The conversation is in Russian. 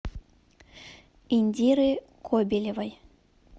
индиры кобелевой